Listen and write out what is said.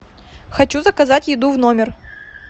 хочу заказать еду в номер